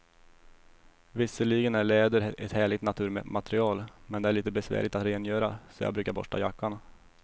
Visserligen är läder ett härligt naturmaterial, men det är lite besvärligt att rengöra, så jag brukar borsta jackan.